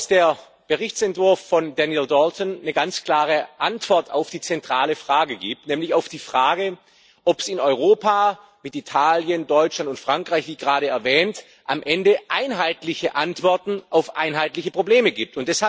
Der Berichtsentwurf von Daniel Dalton gibt eine ganz klare Antwort auf die zentrale Frage, nämlich auf die Frage, ob es in Europa mit Italien, Deutschland und Frankreich, wie gerade erwähnt am Ende einheitliche Antworten auf einheitliche Probleme gibt.